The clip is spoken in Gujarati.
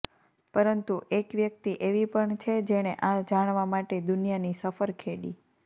પરંતુ એક વ્યક્તિ એવી પણ છે જેણે આ જાણવા માટે દુનિયાની સફર ખેડી